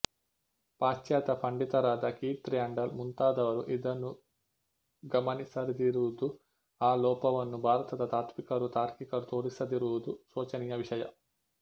ಪಾಶ್ಚಾತ್ಯ ಪಂಡಿತರಾದ Keith Randall ಮುಂತಾದವರು ಇದನ್ನು ಗಮನಿಸಿರದಿರುವುದು ಆ ಲೋಪವನ್ನು ಭಾರತದ ತಾತ್ತ್ವಿಕರು ತಾರ್ಕಿಕರು ತೋರಿಸದಿರುವುದು ಶೋಚನೀಯ ವಿಷಯ